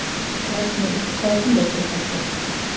Tær snilld Hvaða tónlist hlustar þú á?